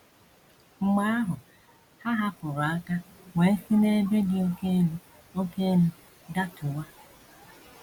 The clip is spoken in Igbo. Mgbe ahụ, ha hapụrụ aka wee si n’ebe dị oké elu oké elu datuwa.